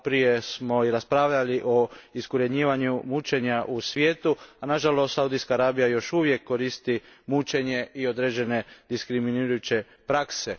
Maloprije smo raspravljali o iskorijenjivanju mučenja u svijetu, a nažalost Saudijska Arabija još uvijek koristi mučenje i određene diskriminirajuće prakse.